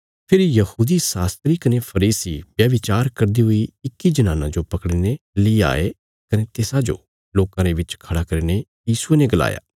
फेरी यहूदी शास्त्री कने फरीसी व्यभिचार करदी हुई इक्की जनानां जो पकड़ीने ली आये कने तिसाजो लोकां रे बिच खड़ा करीने यीशुये ने गलाया